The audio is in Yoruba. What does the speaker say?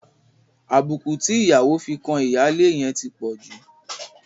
Àbùkù tí ìyàwó fi kan ìyáálé yẹn ti pọ̀ jù.